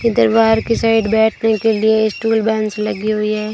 इधर बाहर की साइड बैठने के लिए स्टूल बेंच लगी हुई है।